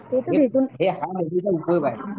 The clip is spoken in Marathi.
हा मोबाईलचा उपयोग आहे